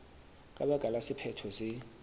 ka baka la sephetho se